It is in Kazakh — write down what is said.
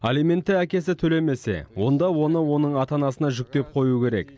алиментті әкесі төлемесе онда оны оның ата анасына жүктеп қою керек